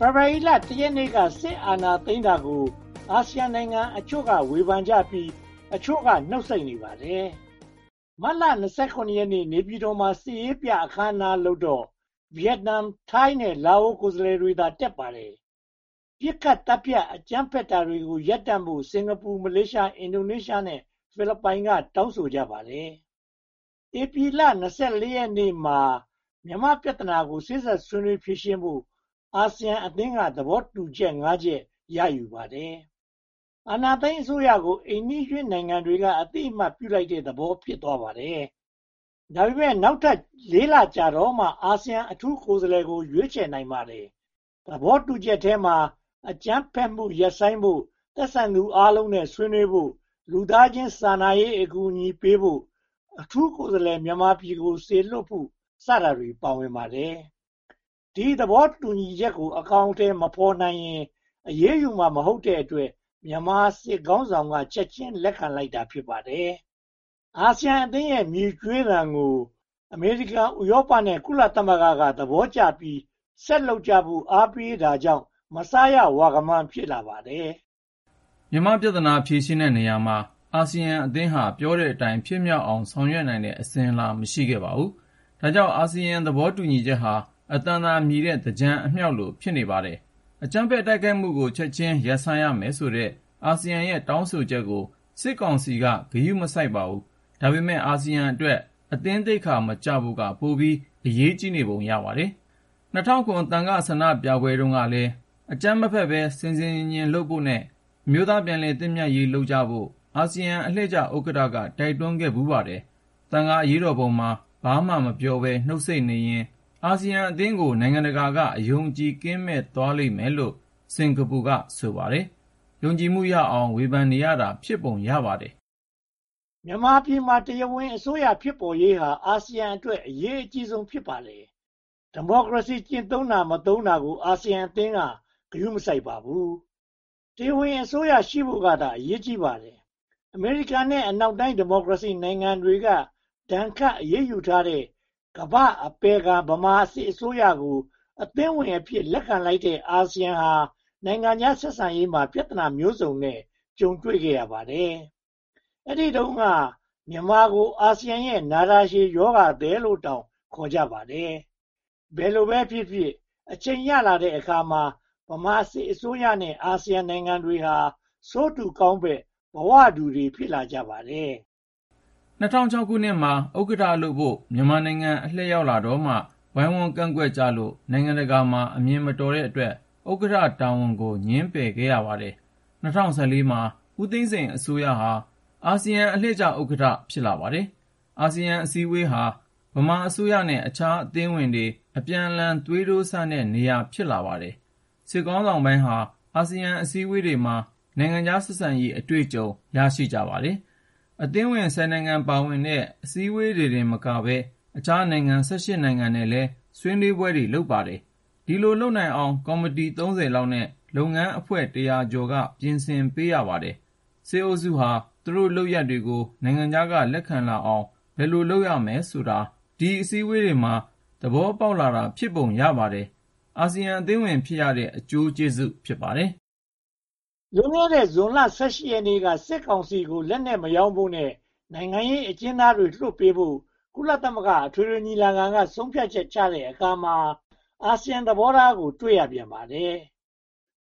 ဖေဖေါ်ဝါရီလ (၁) ရက်နေ့မှာ စစ်အာဏာသိမ်းတာကို အာဆီယံနိုင်ငံအချို့က ဝေဖန်ကြပြီး အချို့က နှုတ်ဆိတ်နေပါတယ်။ မတ်လ (၂၇) ရက်နေ့ နေပြည်တော်မှာ စစ်ရေးပြအခမ်းအနားလုပ်တော့ ဗိယက်နမ်၊ ထိုင်းနဲ့ လာအို ကိုယ်စားလှယ်တွေသာ တက်ရောက်ခဲ့ပါတယ်။ ပစ်ခတ်သတ်ဖြတ် အကြမ်းဖက်တာတွေ ရပ်တန့်ဖို့ စင်္ကာပူ၊ မလေးရှား၊ အင်ဒိုနီးရှားနဲ့ ဖိလစ်ပိုင်တို့က တောင်းဆိုကြပါတယ်။ ဧပြီလ (၂၄) ရက်နေ့မှာ မြန်မာ့ပြဿနာကို စေ့စပ်ဆွေးနွေးဖြေရှင်းဖို့ အာဆီယံအသင်းက သဘောတူညီချက် (၅) ချက် ရယူခဲ့ပါတယ်။ အာဏာသိမ်းအစိုးရကို အိမ်နီးချင်းတွေက အသိအမှတ်ပြုလိုက်တဲ့သဘော ဖြစ်သွားပါတယ်။ ဒါပေမဲ့ နောက်ထပ် (၄) လကြာတော့မှ အာဆီယံအထူးကိုယ်စားလှယ်ကို ရွေးချယ်နိုင်ပါတယ်။ သဘောတူညီချက်ထဲမှာ အကြမ်းဖက်မှုကို ချက်ချင်းရပ်ဆိုင်းဖို့၊ သက်ဆိုင်သူအားလုံးနဲ့ ဆွေးနွေးဖို့၊ လူသားချင်းစာနာရေး အကူအညီပေးဖို့၊ အထူးကိုယ်စားလှယ် မြန်မာပြည်ကိုစေလွှတ်ဖို့ စတာတွေ ပါရှိပါတယ်။ ဒီသဘောတူညီချက်ကို အကောင်အထည်မဖော်ရင် အရေးယူမှာ မဟုတ်တဲ့အတွက် မြန်မာစစ်ခေါင်းဆောင်က ချက်ချင်းလက်ခံလိုက်ပါတယ်။ အာဆီယံအသင်းရဲ့ မြည်ကြွေးသံကို အမေရိကန်၊ ဥရောပနဲ့ ကုလသမဂ္ဂတို့က သဘောကျပြီး ဆက်လုပ်ကြဖို့ အားပေးတာကြောင့် မစားရဝခမန်း ဖြစ်လာပါတယ်။ မြန်မာ့ပြဿနာကို ဖြေရှင်းတဲ့နေရာမှာ အာဆီယံအသင်းဟာ ပြောတဲ့အတိုင်း ဖြစ်မြောက်အောင် ဆောင်ရွက်နိုင်တဲ့ အစဉ်အလာ မရှိပါဘူး။ ဒါကြောင့် အာဆီယံသဘောတူညီချက်ဟာ အသံသာမြည်တဲ့ သင်္ကြန်အမြောက်လို ဖြစ်နေပါတယ်။ အကြမ်းဖက်တိုက်ခိုက်မှုကို ချက်ချင်းရပ်ဆိုင်းရမယ်ဆိုတဲ့ အာဆီယံရဲ့ တောင်းဆိုချက်ကို စစ်ကောင်စီ ဂရုမစိုက်ခဲ့ပါဘူး။ ဒါပေမဲ့ အာဆီယံအတွက် အသင်းသိက္ခာမကျဖို့က ပိုပြီးအရေးကြီးနေပုံ ရပါတယ်။ ၂၀၀၇ သံဃာ့ဆန္ဒပြပွဲတုန်းကလည်း "အကြမ်းမဖက်ဘဲ ဆင်ဆင်ခြင်ခြင်လုပ်ဖို့နဲ့ အမျိုးသားပြန်လည်သင့်မြတ်ရေးလုပ်ဖို့" အာဆီယံအလှည့်ကျဥက္ကဋ္ဌ က တိုက်တွန်းခဲ့ပါတယ်။ သံဃာအရေးတော်ပုံမှာ ဘာမှမပြောဘဲ နှုတ်ဆိတ်နေရင် အာဆီယံအသင်းကို နိုင်ငံတကာက အယုံအကြည်ကင်းမဲ့သွားလိမ့်မယ်လို့ စင်္ကာပူက ဆိုပါတယ်။ ယုံကြည်မှုရအောင် ဝေဖန်နေတာ ဖြစ်ပုံရပါတယ်။ မြန်မာပြည်မှာ တရားဝင်အစိုးရ ဖြစ်ပေါ်ရေးဟာ အာဆီယံအတွက် အရေးအကြီးဆုံး ဖြစ်ပါတယ်။ ဒီမိုကရေစီကျင့်သုံးတာ/မသုံးတာကို အာဆီယံအသင်းက ဂရုမစိုက်ပါဘူး။ တရားဝင်အစိုးရ ရှိဖို့ကသာ အရေးကြီးပါတယ်။ အမေရိကန်နဲ့ အနောက်တိုင်း ဒီမိုကရေစီနိုင်ငံတွေက ဒဏ်ခတ်အရေးယူထားတဲ့ ကမ္ဘာ့အပယ်ခံ ဗမာစစ်အစိုးရကို အသင်းဝင်အဖြစ် လက်ခံလိုက်တဲ့ အာဆီယံဟာ နိုင်ငံခြားဆက်ဆံရေး ပြဿနာမျိုးစုံကို ကြုံတွေ့ခဲ့ရပါတယ်။ အဲဒီတုန်းက မြန်မာကို အာဆီယံရဲ့ နာတာရှည်ရောဂါသည်လို့တောင် ခေါ်ကြပါတယ်။ ဘယ်လိုပဲဖြစ်ဖြစ် အချိန်ရလာတဲ့အခါမှာ ဗမာစစ်အစိုးရနဲ့ အာဆီယံနိုင်ငံတွေဟာ ဆိုးတူကောင်းဖက် ဘဝတူတွေ ဖြစ်လာကြပါတယ်။ ၁၉၉၆ မှာ ဥက္ကဋ္ဌလုပ်ဖို့ မြန်မာ့အလှည့်ရောက်လာတော့မှ ဝိုင်းဝန်ကန့်ကွက်ကြလို့ နိုင်ငံတကာမှာ အမြင်မတော်တဲ့အတွက် ဥက္ကဋ္ဌတာဝန်ကို ငြင်းပယ်ခဲ့ရပါတယ်။ ၂၀၁၄ မှာ ဦးသိန်းစိန်အစိုးရဟာ အာဆီယံအလှည့်ကျ ဥက္ကဋ္ဌ ဖြစ်လာပါတယ်။ အာဆီယံအစည်းအဝေးဟာ ဗမာအစိုးရနဲ့ အခြားအသင်းဝင်တွေ အပြန်အလှန် သွေးတိုးစမ်းတဲ့နေရာ ဖြစ်လာပါတယ်။ စစ်ခေါင်းဆောင်ပိုင်းဟာ အာဆီယံအစည်းအဝေးတွေမှာ နိုင်ငံခြားဆက်ဆံရေး အတွေ့အကြုံ ရရှိကြပါတယ်။ အသင်းဝင် (၁၀) နိုင်ငံပါဝင်တဲ့ အစည်းအဝေးတွေတင်မကပဲ အခြားနိုင်ငံ (၁၈) နိုင်ငံနဲ့လည်း ဆွေးနွေးပွဲတွေ လုပ်ပါတယ်။ ဒီလိုလုပ်နိုင်အောင် ကော်မတီ (၃၀) လောက်နဲ့ လုပ်ငန်းအဖွဲ့ (၁၀၀) ကျော်က ပြင်ဆင်ပေးရပါတယ်။ စစ်အုပ်စုဟာ သူတို့လုပ်ရပ်တွေကို နိုင်ငံခြားက လက်ခံလာအောင် ဘယ်လိုလုပ်ရမယ်ဆိုတာကို ဒီအစည်းအဝေးတွေမှာ သဘောပေါက်လာတာ ဖြစ်ပုံရပါတယ်။ အာဆီယံအသင်းဝင် ဖြစ်ရတဲ့ အကျိုးကျေးဇူး ဖြစ်ပါတယ်။ လွန်ခဲ့တဲ့ ဇွန်လ (၁၈) ရက်နေ့က စစ်ကောင်စီကို လက်နက်မရောင်းဖို့နဲ့ နိုင်ငံရေးအကျဉ်းသားတွေ လွှတ်ပေးဖို့ ကုလသမဂ္ဂ အထွေထွေညီလာခံက ဆုံးဖြတ်ချက်ချတဲ့အခါမှာ အာဆီယံသဘောထားကို တွေ့ရပြန်ပါတယ်